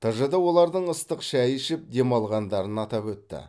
тжд олардың ыстық шай ішіп демалғандарын атап өтті